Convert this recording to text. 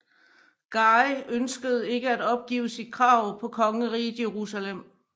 Guy ønskede ikke at opgive sit krav på Kongeriget Jerusalem